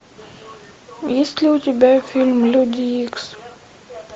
есть ли у тебя фильм люди икс